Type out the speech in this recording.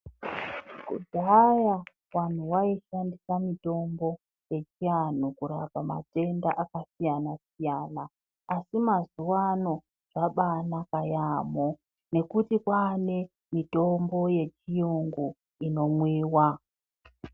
Kudhaya vantu vaishandisa mitombo yechiantu kurapa matenda akasiyana siyana, asi mazuva ano zvabaasiyana yaamho ngekuti kwaane mitombo yechiyungu, inomwiwa.